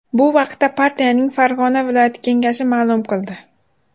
Bu haqda partiyaning Farg‘ona viloyati Kengashi ma’lum qildi .